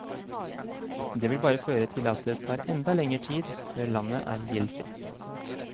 Det vil bare føre til at det tar enda lenger tid før landet er gjeldfritt.